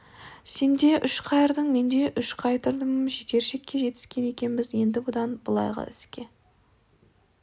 сен де үш қайырдың мен де үш қайырдым жетер шекке жетіскен екенбіз енді бұдан былайғы іске